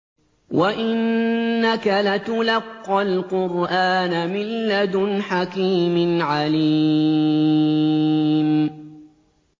وَإِنَّكَ لَتُلَقَّى الْقُرْآنَ مِن لَّدُنْ حَكِيمٍ عَلِيمٍ